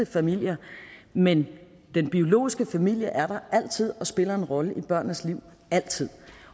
familier men den biologiske familie er der altid og spiller en rolle i børnenes liv altid